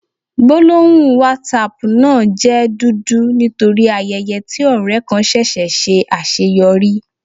Gbólóhùn Whatsapp náà jẹ́ dúdú nítorí ayẹyẹ tí ọ̀rẹ kan ṣẹṣẹ̀ ṣe àṣeyọrí.